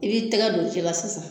I b'i tɛgɛ don ji la sisan